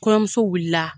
Kɔɲɔmuso wulila